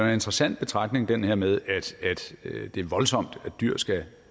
interessant betragtning den her med at det er voldsomt at dyr skal